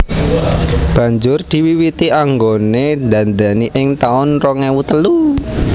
Banjur diwiwiti anggone ndandani ing taun rong ewu telu